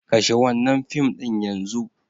Kashe wannan fim din yanzu!